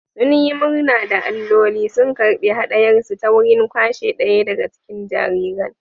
Sun yi murna da alloli sun karɓi haɗayarsu ta wurin kwashe ɗaya daga cikin jariran